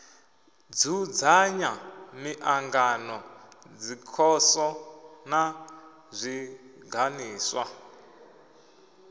dzudzanya miṱangano dzikhoso na zwiganḓiswa